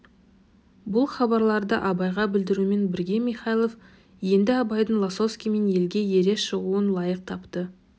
бұл хабарларды абайға білдірумен бірге михайлов енді абайдың лосовскиймен елге ере шығуын лайық тапты